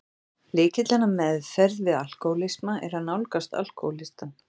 Lykillinn að meðferð við alkohólisma er að nálgast alkohólistann.